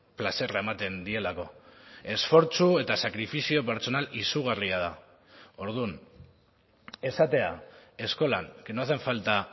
plazerra ematen dielako esfortzu eta sakrifizio pertsonal izugarria da orduan esatea eskolan que no hacen falta